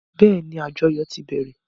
Bẹ́ẹ́ni, àjọyò ti bẹ̀rẹ̀.